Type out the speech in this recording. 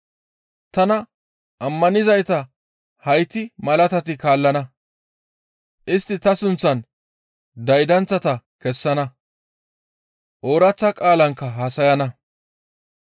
Tana ammanizayta hayti malatati kaallana. Istti ta sunththan daydanththata kessana; ooraththa qaalankka haasayana.